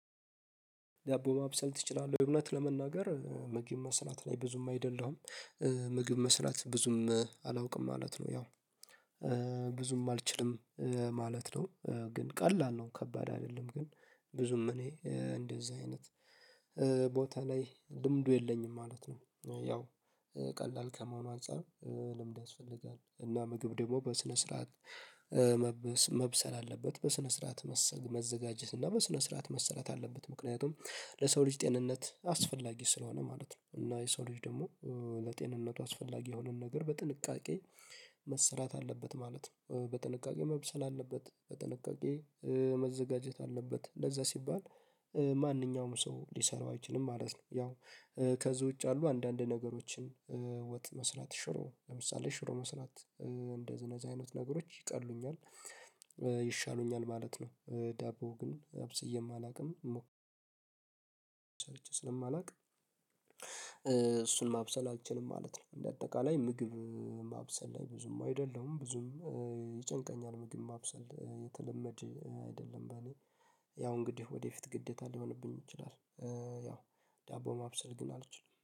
ዳቦ ማብሰል ትችላለህ? እውነት ለመናገር ምግብ መስራት ላይ ብዙም አይደለሁም ምግብ መስራት ብዙም አላውቅም ማለት ነው ያው ብዙም አልችልም ማለት ነው ግን ቀላል ነው ከባድ አይደለም ግን ብዙም እኔ እንደዚህ አይነት ቦታ ላይ ልምዱ የለኝም ማለት ነው ያው ቀላል ከመሆኑ አንፃር ልምድ ያስፈልጋል እና ምግብ ደግሞ በስነ ስርዓት መብሰል አለበት በስነ ስርዓት መዘጋጀት እና በስነ ስርዓት መሰራት አለበት ምክንያቱም ለሰው ልጅ ጤንነት አስፈላጊ ስለሆነ ማለት ነው እና የሰው ልጅ ደግሞ ለጤንነቱ አስፈላጊ የሆነውን ነገር በጥንቃቄ መሰራት አለበት ማለት ነው በጥንቃቄ መብሰል አለበት በጥንቃቄ መዘጋጀት አለበት ለዛ ሲባል ማንኛውም ሰው ሊሰራው አይችልም ማለት ነው ያው ከዚህ ውጭ ያሉ አንዳንድ ነገሮችን ወጥ መስራት ሽሮ ለምሳሌ ሽሮ መስራት እንደነዚህ አይነት ነገሮች ይቀሉኛል ይሻሉኛል ማለት ነው ዳቦ ግን አብስዬም አላውቅም ስለማላውቅ እሱን ማብሰል አልችልም ማለት ነው እንደ አጠቃላይ ምግብ ማብሰል ላይ ብዙም አይደለሁም ብዙም ይጨንቀኛል ምግብ ማብሰል የተለመደ አይደለም ለኔ ያው እንግዲህ ወደፊት ግዴታ ሊሆንብኝ ይችላል ያው ዳቦ ማብሰል ግን አልችልም